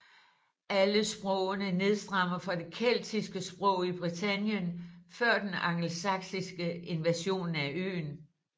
Alle sprogene nedstammer fra det keltiske sprog i Britannien før den angelsaksiske invasion af øen